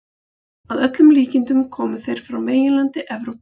Að öllum líkindum komu þeir frá meginlandi Evrópu.